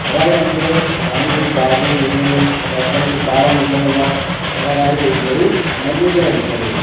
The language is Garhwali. अगाड़ी हमते वामड़ी कुछ घास-घूस दिख्याणी साइड पणी कुछ डाला दिख्येण लाग्यां और अगाडी एक बडू मंदिर की तरह दिख्याणु लगयूं।